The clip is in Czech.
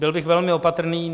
Byl bych velmi opatrný.